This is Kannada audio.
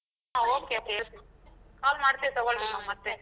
ಹ okay ಕೇಳ್ತೀನಿ call ಮಾಡ್ತಿವ್ ತೊಗೋಳ್ರಿ ನಾವ್ ಮತ್ತೆ ಮನೆಲ್ ಮನೇಲಿ ಮಾತಾಡಿ ಅಮ್ಮ ಅಪ್ಪ ಅಪ್ಪನ್ ಕಡೆ.